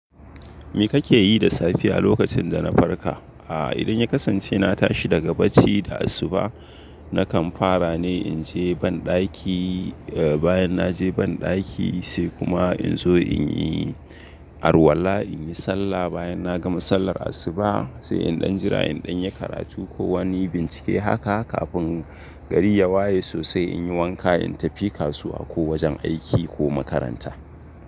Me kake yi da safiya lokacin da na farka? Idan ya kasance na tashi daga bacci da asuba nakan fara ne in je banɗaki, bayan na je banɗaki sai kuma in zo in yi arwala, in yi sallah bayan na gama sallar asuba sai in ɗan jira in ɗan yi karatu ko wani bincike haka kafin gari ya waye sosai in yi wanka in tafi kasuwa ko wajen aiki ko makaranta.